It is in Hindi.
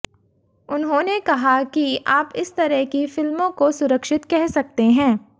उन्होंने कहा कि आप इस तरह की फिल्मों को सुरक्षित कह सकते हैं